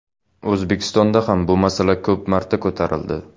O‘zbekistonda ham bu masala ko‘p marta ko‘tarildi.